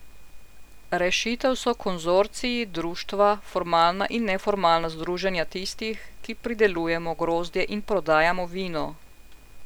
Rešitev so konzorciji, društva, formalna in neformalna združenja tistih, ki pridelujemo grozdje in prodajamo vino.